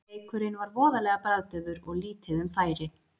Leikurinn var voðalega bragðdaufur og lítið um færi.